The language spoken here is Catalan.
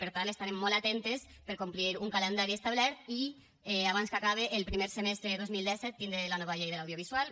per tant estarem molt atentes per a complir un calendari establert i abans que acabe el primer semestre de dos mil disset tindre la nova llei de l’audiovisual